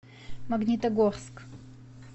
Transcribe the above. магнитогорск